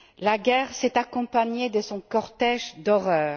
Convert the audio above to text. La guerre s'est accompagnée de son cortège d'horreurs.